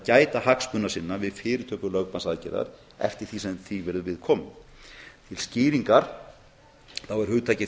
gæta hagsmuna sinna við fyrirtöku lögbannsaðgerðar eftir því sem því verður við komið til skýringar er hugtakið